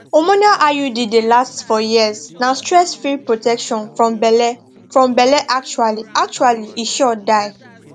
hormonal iud dey last for years na stressfree protection from belle from belle actually actually e sure die